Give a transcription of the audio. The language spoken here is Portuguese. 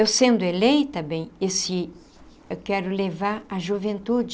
Eu sendo eleita, bem, esse... eu quero levar a juventude.